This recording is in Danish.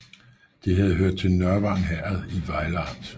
Det havde hørt til Nørvang Herred i Vejle Amt